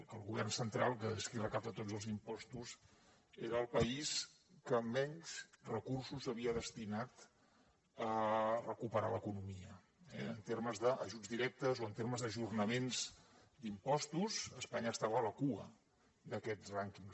que el govern central és qui recapta tots els impostos era el país que menys recursos havia destinat a recuperar l’economia eh en termes d’ajuts directes o en termes d’ajornaments d’impostos espanya estava a la cua d’aquests rànquings